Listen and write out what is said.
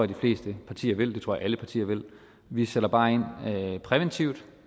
de fleste partier vil det tror jeg alle partier vil vi sætter bare ind præventivt